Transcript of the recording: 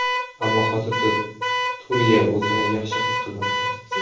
Ammo hozirda Turiya o‘zini yaxshi his qilmoqda.